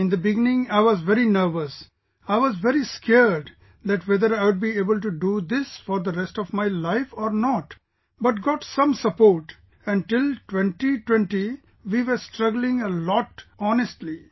In the beginning, I was very nervous, I was very scared that whether I would be able to do this for the rest of my life or not, but got some support and till 2020, we were struggling a lot honestly